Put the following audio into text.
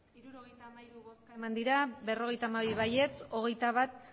hirurogeita hamairu bai berrogeita hamabi ez hogeita bat